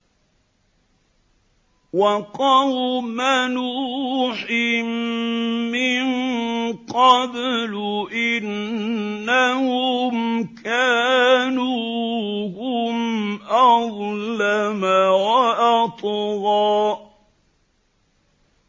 وَقَوْمَ نُوحٍ مِّن قَبْلُ ۖ إِنَّهُمْ كَانُوا هُمْ أَظْلَمَ وَأَطْغَىٰ